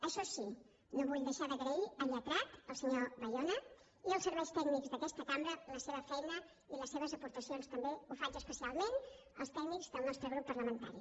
això sí no vull deixar d’agrair al lletrat el senyor bayona i als serveis tècnics d’aquesta cambra la seva feina i les seves aportacions també ho faig especialment als tècnics del nostre grup parlamentari